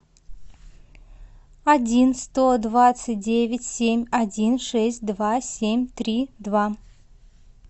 один сто двадцать девять семь один шесть два семь три два